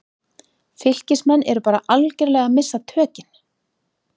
FYLKISMENN ERU BARA ALGERLEGA AÐ MISSA TÖKIN!